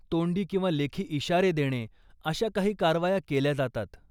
तोंडी किंवा लेखी इशारे देणे, अशा काही कारवाया केल्या जातात.